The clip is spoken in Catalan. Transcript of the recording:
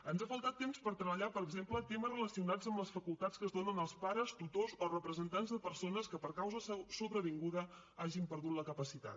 ens ha faltat temps per treballar per exemple temes relacionats amb les facultats que es donen als pares tutors o representants de persones que per causa sobrevinguda hagin perdut la capacitat